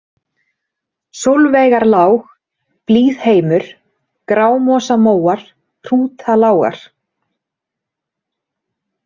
Sólveigarlág, Blíðheimur, Grámosamóar, Hrútalágar